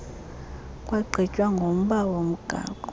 kwagqitywa ngomba womgaqo